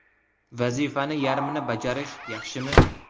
Vazifani yarmini bajarish yaxshimi?